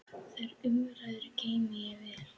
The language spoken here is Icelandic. Þær umræður geymi ég vel.